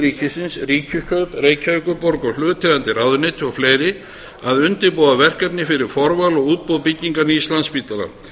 ríkisins ríkiskaup reykjavíkurborg hlutaðeigandi ráðuneyti og fleiri að undirbúa verkefnið fyrir forval og útboð byggingar nýs landspítala